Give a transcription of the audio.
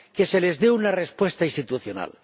se les dé una respuesta institucional.